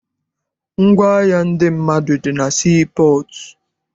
Ngwaahịa ndị mmadụ dị na sii pọọtụ.